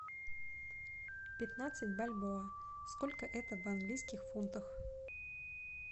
пятнадцать бальбоа сколько это в английских фунтах